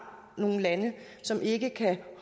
nogle lande som ikke kan